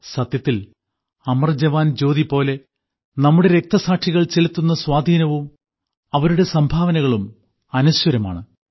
സത്യത്തിൽ അമർജവാൻജ്യോതി പോലെ നമ്മുടെ രക്തസാക്ഷികൾ ചെലുത്തുന്ന സ്വാധീനവും അവരുടെ സംഭാവനകളും അനശ്വരമാണ്